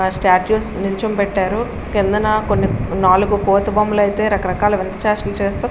ఆ స్టాట్యూ నిలచో పెట్టారు. కిందన కొన్ని నాలుగు కోతి బొమ్మలు అయితే రకరకాల వింత చేష్టలు చేస్తూ --